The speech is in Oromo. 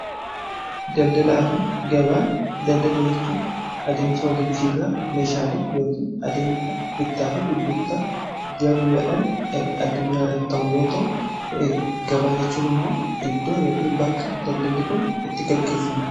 Daldalaa fi gabaa daldala jechuun adeemsa waljijjiirra meeshaalee yookiin adeemsa bittaa fi gurgurtaa biyyaa guyyaadhan addunyaa irratti ta'u yoo ta'u . Gabaa jechuun immoo iddoo yookin bakka daldalli kun itti gaggeeffamu